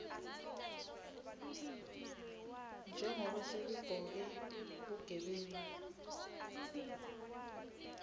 njengobe sekubhoke bugebengu